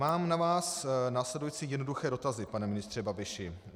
Mám na vás následující jednoduché dotazy, pane ministře Babiši.